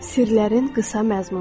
Sirlərin qısa məzmunu.